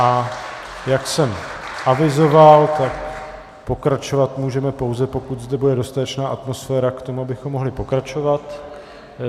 A jak jsem avizoval, tak pokračovat můžeme, pouze pokud zde bude dostatečná atmosféra k tomu, abychom mohli pokračovat.